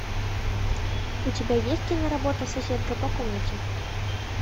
у тебя есть киноработа соседка по комнате